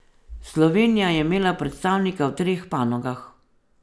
Slovenija je imela predstavnika v treh panogah.